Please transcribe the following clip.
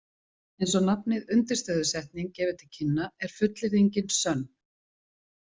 Eins og nafnið undirstöðusetning gefur til kynna er fullyrðingin sönn.